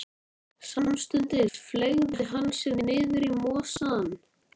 hreytir hún í Júlíu full fyrirlitningar.